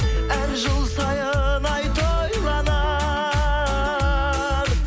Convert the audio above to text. әр жыл сайын ай тойланар